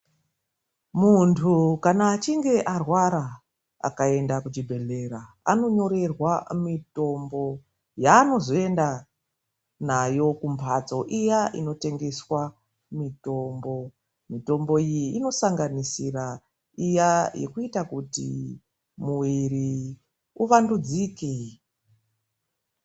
Muntu kana echinge arwara, akaenda kuchibhedhlera anonyorerwa mitombo yaanozoenda nayo kumhatso iya inotengeswa mitombo. Mitombo iyi inosanganisira iya yekuita kuti mwiri uvandudzike.